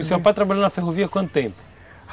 E seu pai trabalhou na ferrovia quanto tempo?